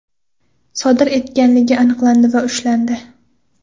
sodir etganligi aniqlandi va ushlandi.